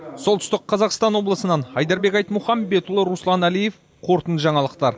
солтүстік қазақстан облысынан айдарбек айтмұхамбетұлы руслан әлиев қорытынды жаңалықтар